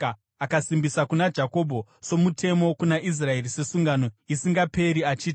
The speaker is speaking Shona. Akasimbisa kuna Jakobho somutemo, kuna Israeri sesungano isingaperi, achiti: